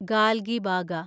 Galgibaga